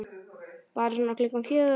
Bara svona klukkan fjögur.